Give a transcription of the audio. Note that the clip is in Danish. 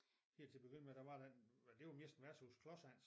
Helt til at begynde med der var den mend et var mest værtshuset Klodshans